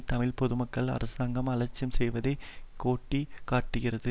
தமிழ் பொதுமக்களை அரசாங்கம் அலட்சியம் செய்வதை கோட்டுக் காட்டுகிறது